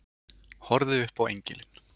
Horfði upp á engilinn.